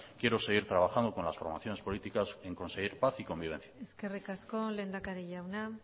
quiero seguir trabajando con las formaciones políticas en conseguir paz y convivencia eskerrik asko lehendakari jauna